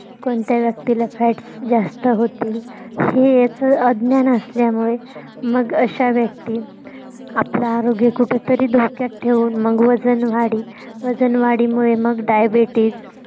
कोणत्या व्यक्तीला fats जास्त होतील. हे याच अज्ञान असल्यामुळे मग अश्या व्यक्ती आपलं आरोग्य कुठंतरी धोक्यात ठेऊन मग वजन वाढी वजन वाढीमुळे मग diabetes